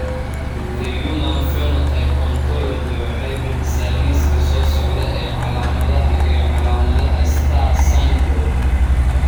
The Human Phenotype Ontology waxay bixisaa liiska soo socda ee calaamadaha iyo calaamadaha STAR syndrome.